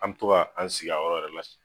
An mi to k'an sigi a yɔrɔ yɛrɛ la siɲɛ